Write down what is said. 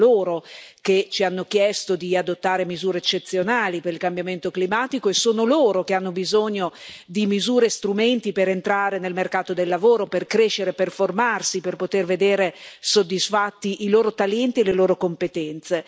Sono loro che ci hanno chiesto di adottare misure eccezionali per il cambiamento climatico e sono loro che hanno bisogno di misure e strumenti per entrare nel mercato del lavoro, per crescere, per formarsi, per poter vedere soddisfatti i loro talenti e le loro competenze.